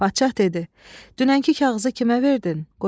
Padşah dedi: "Dünənki kağızı kimə verdin?"